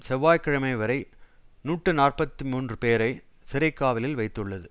செவ்வாய் கிழமை வரை நூற்றி நாற்பத்தி மூன்று பேரை சிறைக்காவலில் வைத்துள்ளது